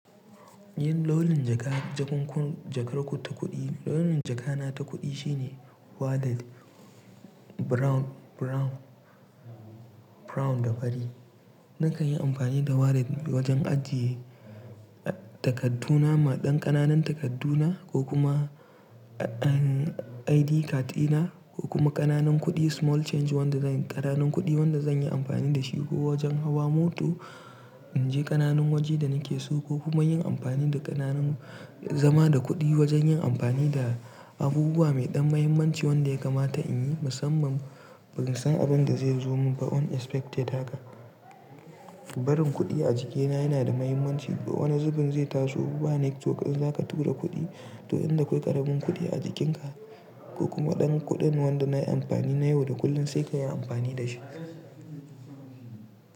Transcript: Yin launin jaka, jakunkun jakar ku ta kuɗi, launin jakana ta kuɗi shine wallet brown, brown, brown da fari. Nakan yi amfani da wallet wajen ajiye takarddu na, maɗan ƙananan takarddu na ko kuma ID card ina ko kuma ƙananan kuɗi small change wanda zan ƙananan kuɗi wanda zan yi amfani da shi ko wajen hawa mota, in je ƙananan waje da nake so ko kuma yin amfani da ƙananan zama da kuɗi wajen yin amfani da abubuwa mai ɗan mahimmanci wanda ya kamata in yi, musamman ban san abin da zai zo min ba unexpected hakan. Barin kuɗi a jikina yana da mahimmanci. Wani zubin zai taso ba network, in zaka tura kuɗi, to inda akwai ƙaramin kuɗi a jikinka ko kuma ɗan kuɗin wanda nayi amfani na yau da kullun sai ka yi amfani da shi.